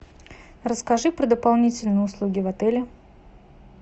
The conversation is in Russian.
расскажи про дополнительные услуги в отеле